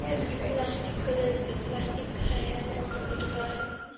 plastic colour का plastic है और कटुआ है इसमे--